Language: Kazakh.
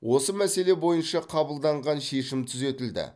осы мәселе бойынша қабылданған шешім түзетілді